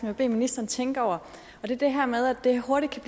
vil bede ministeren tænke over det er det her med at det hurtigt kan